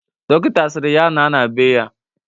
Dọkịta sịrị ya naa na bee ya.